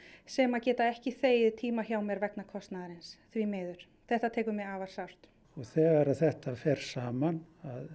sem geta ekki þegið tíma hjá mér vegna kostnaðarins því miður þetta tekur mig afar sárt þegar þetta fer saman